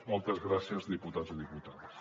moltes gràcies diputats i diputades